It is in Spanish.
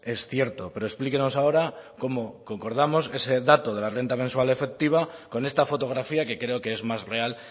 es cierto pero explíquenos ahora cómo concordamos ese dato de la renta mensual efectiva con esta fotografía que creo que es más real